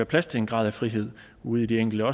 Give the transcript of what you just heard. plads til en grad af frihed ude i de enkelte